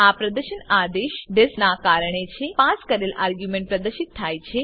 આ પ્રદર્શન આદેશ ડીઆઇએસપી ના કારણે છે પાસ કરેલ આર્ગ્યુંમેન્ટ પ્રદર્શિત થાય છે